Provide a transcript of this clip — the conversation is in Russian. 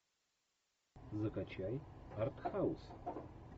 закачай артхаус